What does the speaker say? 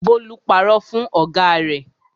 Bólú parọ́ fún ọ̀gá rẹ̀.